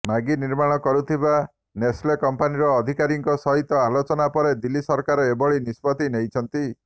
Maggi ନିର୍ମାଣ କରୁଥିବା Nestle କମ୍ପାନୀର ଅଧିକାରୀଙ୍କ ସହିତ ଆଲୋଚନା ପରେ ଦିଲ୍ଲୀ ସରକାର ଏଭଳି ନିଷ୍ପତ୍ତି ନେଇଛନ୍ତି